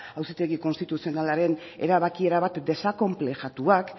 auzitegi konstituzionalaren erabaki erabat desakonplejatuak